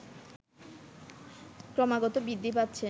ক্রমাগত বৃদ্ধি পাচ্ছে